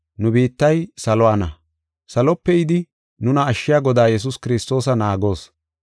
Nu biittay saluwana. Salope yidi nuna ashshiya Godaa Yesuus Kiristoosa naagoos.